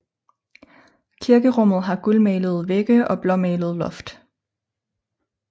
Kirkerummet har gulmalede vægge og blåmalet loft